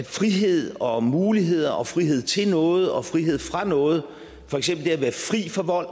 frihed og muligheder og frihed til noget og frihed fra noget for eksempel det at være fri for vold